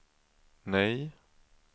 nej